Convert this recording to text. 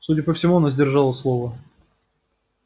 судя по всему она сдержала слово